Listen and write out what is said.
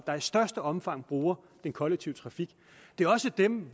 der i største omfang bruger den kollektive trafik det er også dem